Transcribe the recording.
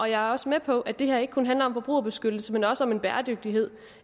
jeg er også med på at det her ikke kun handler om forbrugerbeskyttelse men også om en bæredygtighed